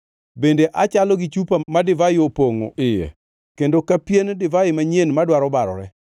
bende achalo gi chupa ma divai opongʼo iye kendo ka pien divai manyien madwaro barore.